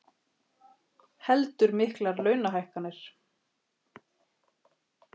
Heldur miklar launahækkanir